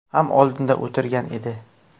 ham oldinda o‘tirgan edi.